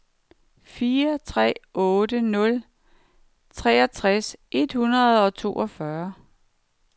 fire tre otte nul otteogtres et hundrede og toogfyrre